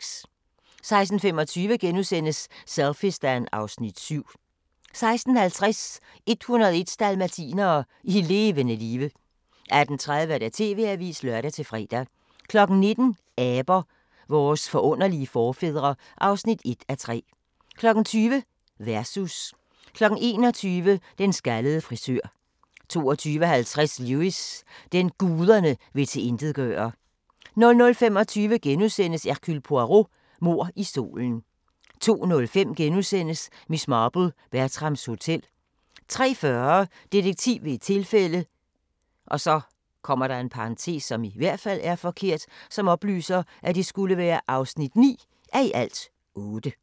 16:25: Selfiestan (Afs. 7)* 16:50: 101 dalmatinere i levende live 18:30: TV-avisen (lør-fre) 19:00: Aber – vores forunderlige forfædre (1:3) 20:00: Versus 21:00: Den skaldede frisør 22:50: Lewis: Den, guderne vil tilintetgøre 00:25: Hercule Poirot: Mord i solen * 02:05: Miss Marple: Bertrams Hotel * 03:40: Detektiv ved et tilfælde (9:8)